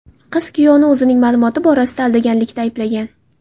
Qiz kuyovni o‘zining ma’lumoti borasida aldaganlikda ayblagan.